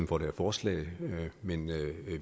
for det her forslag men